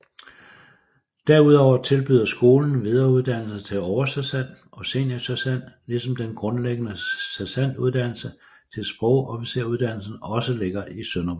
Derudover tilbyder skolen videreuddannelse til oversergent og seniorsergent ligesom den grundlæggende sergentuddannelse til sprogofficersuddannelse også ligger i Sønderborg